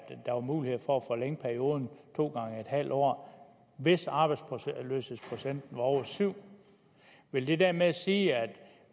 der var mulighed for at forlænge perioden to gange en halv år hvis arbejdsløshedsprocenten var over syv vil det dermed sige at